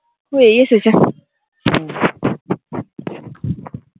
হয়েই এসেছে